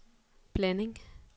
blanding